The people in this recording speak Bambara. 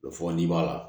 O fɔ nin b'a la